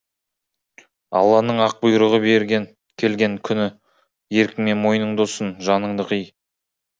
алланың ақ бұйрығы келген күніеркіңмен мойныңды ұсын жаныңды қый